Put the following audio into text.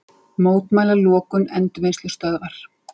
Mótmæla lokun endurvinnslustöðvar